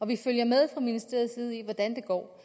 vi følger med fra ministeriets side i hvordan det går